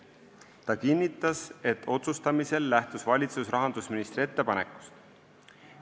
Ta kinnitas, et otsustamisel lähtus valitsus rahandusministri ettepanekust.